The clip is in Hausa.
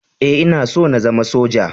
E, Ina so na zama Soja.